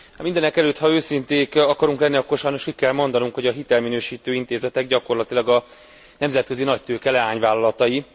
Mindenekelőtt, ha őszinték akarunk lenni, akkor sajnos ki kell mondanunk, hogy a hitelminősítő intézetek gyakorlatilag a nemzetközi nagytőke leányvállalatai.